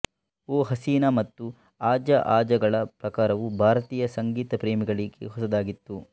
ಓ ಹಸೀನಾ ಮತ್ತು ಆಜಾ ಆಜಾಗಳ ಪ್ರಕಾರವು ಭಾರತೀಯ ಸಂಗೀತ ಪ್ರೇಮಿಗಳಿಗೆ ಹೊಸದಾಗಿತ್ತು